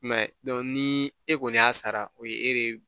I m'a ye ni e kɔni y'a sara o ye e de